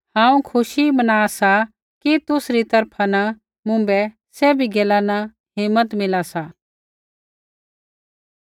हांऊँ खुशी मना सा कि तुसरी तरफा न मुँभै सभी गैला न हिम्मत मिला सा